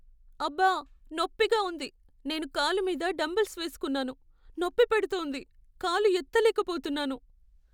అబ్బా! నొప్పిగా ఉంది. నేను కాలు మీద డంబెల్స్ వేసుకున్నాను, నొప్పి పెడుతోంది. కాలు ఎత్తలేకపోతున్నాను.